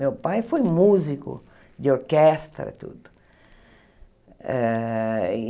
Meu pai foi músico de orquestra, tudo. Eh e